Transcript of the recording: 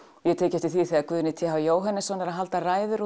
ég hef tekið eftir því þegar Guðni t h Jóhannesson er að halda ræður